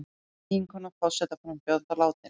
Eiginkona forsetaframbjóðanda látin